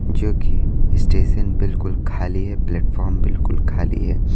जो कि स्टेशन बिल्कुल खाली है प्लेटफार्म बिल्कुल खाली है।